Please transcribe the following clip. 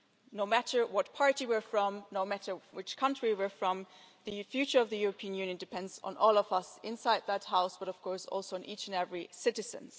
No matter what party we are from, no matter which country we are from, the future of the European Union depends on all of us inside this House, but of course also on each and every citizen.